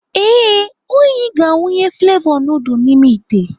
Ee, Onyi ga-awụnye flevọ nudul n'ime ite.